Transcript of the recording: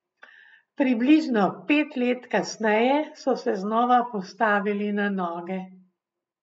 Približno pet let kasneje so se znova postavili na noge.